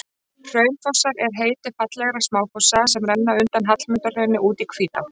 Hraunfossar er heiti fallegra smáfossa sem renna undan Hallmundarhrauni út í Hvítá.